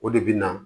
O de bɛ na